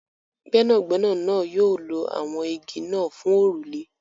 Gbẹ́nàgbẹ́nà náà yóò lọ awọn ígí́ náà fún orúlẹ̀.